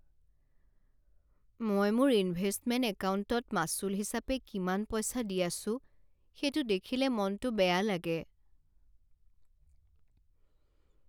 মই মোৰ ইনভেষ্টমেণ্ট একাউণ্টত মাচুল হিচাপে কিমান পইচা দি আছোঁ সেইটো দেখিলে মনটো বেয়া লাগে।